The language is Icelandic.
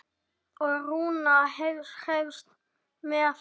Og Rúna hreifst með.